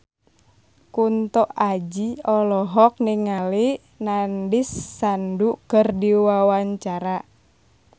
Kunto Aji olohok ningali Nandish Sandhu keur diwawancara